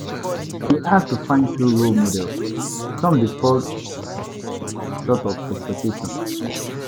We fit admire pipo, but we gatz remember say say dem no perfect.